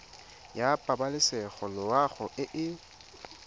ya pabalesego loago e e